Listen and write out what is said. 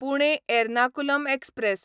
Pune Ernakulam express